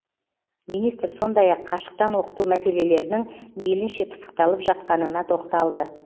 министр сондай ақ қашықтан оқыту мәселелерінің мейлінше пысықталып жатқанына тоқталды